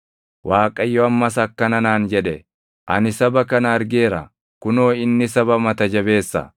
Waaqayyo ammas akkana naan jedhe; “Ani saba kana argeera; kunoo inni saba mata jabeessa!